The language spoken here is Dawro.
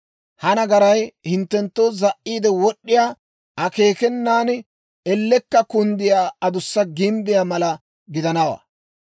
ha nagaray hinttenttoo za"iide wod'd'iyaa, akeekenan ellekka kunddiyaa adussa gimbbiyaa mala gidanawaa.